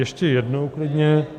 Ještě jednou, klidně.